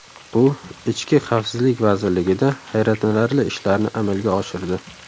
U ichki xavfsizlik vazirligida hayratlanarli ishlarni amalga oshirdi.